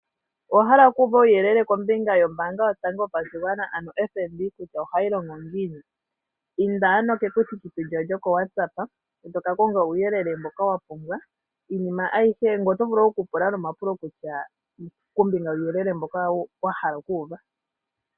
Owa hala okuuva uuyelele yombanga yotango yopashigwana ano FNB kutya ohayi longo ngiini? Inda ano kekuthikuthi lyawo lyokoWatsapp e toka konga uuyelele mboka wa pumbwa iinima ngoye oto vulu nokupula omapulo kombiga wuuyelele mboka wa hala okuuva.